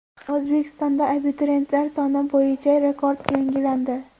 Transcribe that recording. O‘zbekistonda abituriyentlar soni bo‘yicha rekord yangilandi.